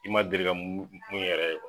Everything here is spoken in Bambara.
I ma deli ka mun yɛrɛ ye kuwa